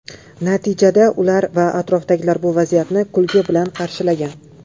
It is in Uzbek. Natijada ular va atrofdagilar bu vaziyatni kulgi bilan qarshilgan.